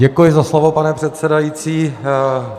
Děkuji za slovo, pane předsedající.